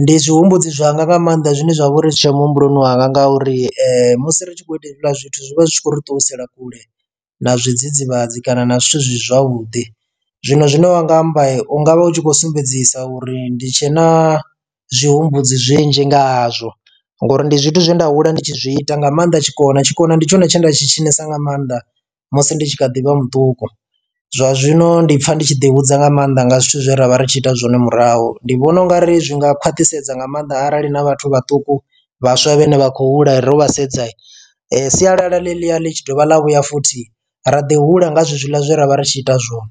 ndi zwihumbudzi zwanga nga maanḓa zwine zwa vha uri zwi tshe muhumbuloni wanga nga uri musi ri tshi khou ita hezwiḽa zwithu zwi vha zwi tshi khou ri ṱuwisela kule na zwidzidzivhadzi kana na zwithu zwi si zwavhuḓi. Zwino zwine wanga amba ungavha u tshi khou sumbedzisa uri ndi tshe na zwihumbudzi zwinzhi nga hazwo ngori ndi zwithu zwe nda hula ndi tshi zwi ita nga maanḓa tshikona tshikona ndi tshone tshine nda tshi tshinesiwa nga maanḓa musi ndi tshi kha ḓivha muṱuku zwa zwino ndi pfha ndi tshi ḓi hudza nga maanḓa nga zwithu zwe ra vha ri tshi ita zwone murahu ndi vhona ungari zwi nga khwaṱhisedza nga maanḓa arali na vhathu vhaṱuku vhaswa vhane vha khou hula ro vha sedza sialala ḽe ḽia ḽi tshi dovha ḽa vhuya futhi ra ḓi hula nga zwezwiḽa zwe ra vha ri tshi ita zwone.